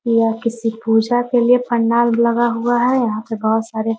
यह किसी पूजा के लिए पंडाल लगा हुआ है। यहाँ पे बहुत सारे --